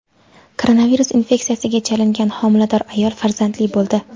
Koronavirus infeksiyasiga chalingan homilador ayol farzandli bo‘ldi.